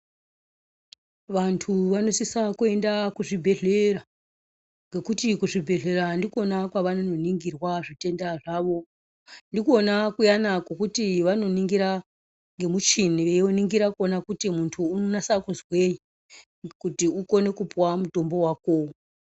Vantu vanosisa kuenda kuzvibhehlera ngekuti kuzvibhehlera ndikona kwavanoningirwa zvitenda zvavo. Ndikona kuyana kwokuti vanoningira nemuchini veiningira kuona kuti muntu unonasa kuzwei kuti ukone kupuwa mutombo wakowo.